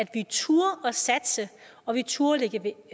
vi turde satse og vi turde lægge